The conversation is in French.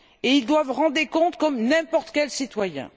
Ils doivent rendre des comptes comme n'importe quel citoyen.